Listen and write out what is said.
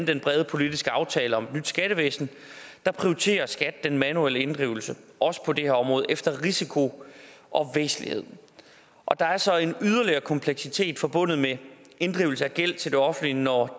den brede politiske aftale om et nyt skattevæsen prioriterer skat den manuelle inddrivelse også på det her område efter risiko og væsentlighed og der er så en yderligere kompleksitet forbundet med inddrivelse af gæld til det offentlige når